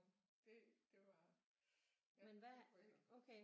Det det var ja nu får jeg helt